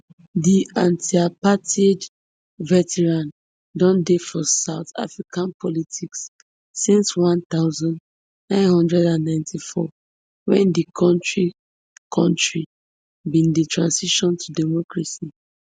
di antiapartheid veteran don dey for south african politics since one thousand, nine hundred and ninety-four wen di kontri kontri bin dey transition to democracy